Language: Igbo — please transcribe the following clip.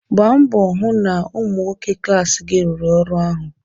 Gbaa mbọ hụ na ụmụ nnwoke klaasị gị rụrụ ọrụ ahụ.